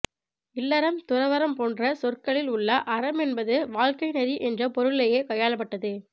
இல்லறம் துறவறம் போன்ற சொற்களில் உள்ள அறம் என்பது வாழ்க்கைநெறி என்ற பொருளிலேயே கையாளப்பட்டது